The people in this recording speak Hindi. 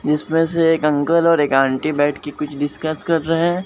जिसमें से एक अंकल और एक आंटी बैठ के कुछ डिस्कस कर रहे हैं।